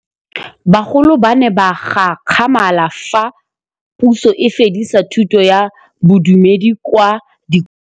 Bagolo ba ne ba gakgamala fa Pusô e fedisa thutô ya Bodumedi kwa dikolong.